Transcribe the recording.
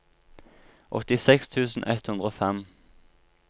åttiseks tusen ett hundre og fem